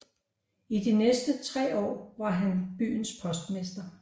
I de næste tre år var han byens postmester